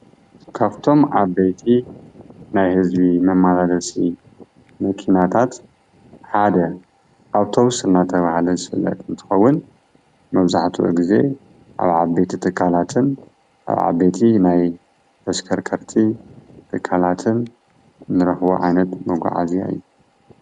ካብቶም ዓበይቲ ናይ ህዝቢ መመላስቲ መኪናታት መጓዓዚ ሓደ ኣውቶብስ እንዳተባሃለ ዝፍለጥ እንትኸውን መብዛሕቲኡ ግዜ ኣብ ዓበይቲ ትካላትን ዓበይቲ ናይ ተሽከርከርቲ ትካላትን እንረክቦ ዓይነት መጓዓዝያ እዩ፡፡